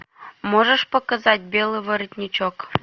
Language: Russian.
можешь показать белый воротничок